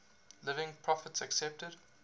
living prophets accepted